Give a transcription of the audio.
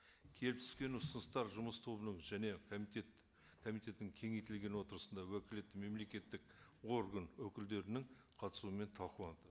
келіп түскен ұсыныстар жұмыс тобының және комитет комитеттің кеңейтілген отырысында уәкілетті мемлекеттік орган өкілдерінің қатысуымен талқыланды